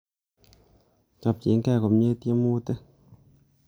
Chobchinge komie tiemutikuk.